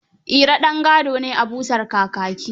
Iro ɗan gado ne a busar kakaki.